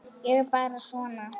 Ég er bara svona.